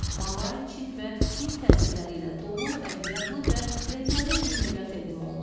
Malay, Çin və Hind təsirləri ilə dolu ədviyyatlı və rəngarəng yeməklər təqdim olunur.